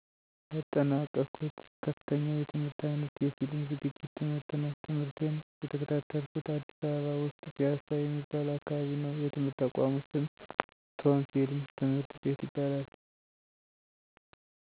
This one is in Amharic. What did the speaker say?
ያጠናቅሁት ከፍተኛ የትምህርት አይነት የፊልም ዝግጅት ትምህርት ነው። ትምህርቴን የተከታተልኩት አዲስ አበባ ውስጥ ፒያሳ የሚባል አካባቢ ነው የትምህርት ተቋሙ ስም ቶም ፊልም ትምህርት ቤት ይባላል።